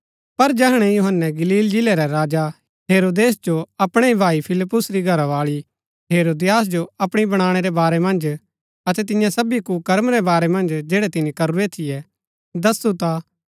पर जैहणै यूहन्‍नै गलील जिलै रै राजा हेरोदेस जो अपणै ही भाई फिलिप्पुस री घरावाळी हेरोदियास जो अपणी बणाणै रै बारै मन्ज अतै तियां सबी कुर्कम रै बारै मन्ज जैड़ै तिनी करूरै थियै दसु ता